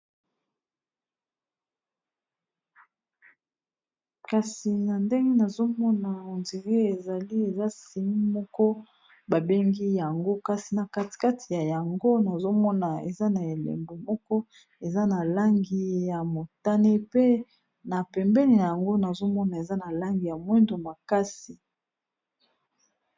Kasi na ndenge nazomona ondire ezali eza sini moko babengi yango kasi na kati kati ya yango nazomona eza na elembo moko eza na langi ya motane pe na pembeni na yango nazomona eza na langi ya mwindo makasi.